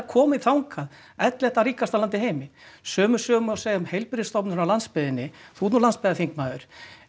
komin þangað ellefta ríkasta land í heimi sömu sögu má segja um heilbrigðisstofnanir á landsbyggðinni þú ert nú landsbyggðarþingmaður